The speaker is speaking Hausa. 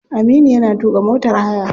Aminu yana tuka motar haya.